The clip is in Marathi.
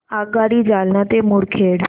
आगगाडी जालना ते मुदखेड